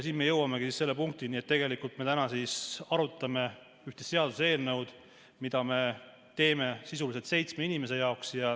Siin me jõuamegi selle punktini, et tegelikult me täna arutame üht seaduseelnõu, mida me teeme sisuliselt seitsme inimese jaoks.